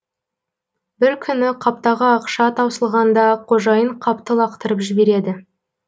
бір күні қаптағы ақша таусылғанда қожайын қапты лақтырып жібереді